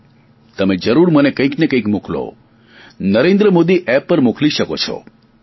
તમે જરૂર મને કંઇક ને કંઇક મોકલો નરેન્દ્ર મોદી એપ પર મોકલી શકો છો mygov